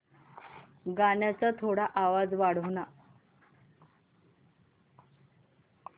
गाण्याचा थोडा आवाज वाढव ना